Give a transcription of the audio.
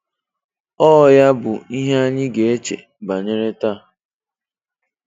Ọọ ya bụ ihe anyị ga-eche banyere taa.